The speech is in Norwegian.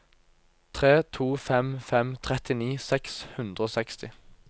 tre to fem fem trettini seks hundre og seksti